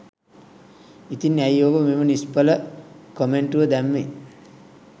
ඉතින් ඇයි ඔබ මෙම නිශ්ඵල කොමෙන්‍ටුව දැම්මේ?